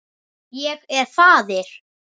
Ég er faðir.